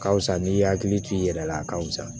Ka fisa n'i y'a hakili to i yɛrɛ la a ka fisa